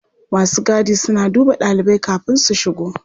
Masu gadi suna duba ɗalibai kafin su shigo.